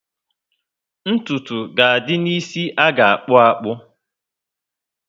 Ntụtụ ga adị ná ísì aga akpu akpu